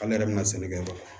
Ale yɛrɛ bɛna sɛnɛkɛyɔrɔ la